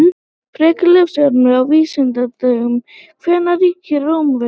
Frekara lesefni á Vísindavefnum: Hvenær ríktu Rómverjar?